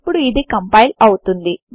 ఇప్పుడు ఇది కంపైల్ అవుతుంది